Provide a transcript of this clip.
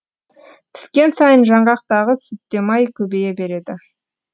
піскен сайын жаңғақтағы сүтте май көбейе береді